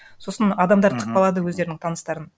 сосын адамдар тықпалады өздерінің таныстарын